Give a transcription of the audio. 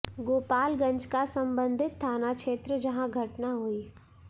गोपालगंज का संबंधित थाना क्षेत्र जहां घटना हुई